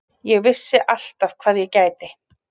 Ég vissi alltaf hvað ég gæti.